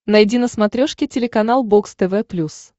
найди на смотрешке телеканал бокс тв плюс